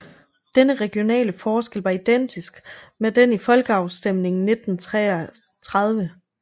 Denne regionale forskel var identisk med den i folkeafstemningen 1933